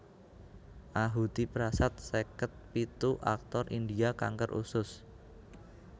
Ahuti Prasad seket pitu aktor India kanker usus